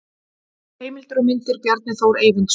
Heimildir og myndir: Bjarni Þór Eyvindsson.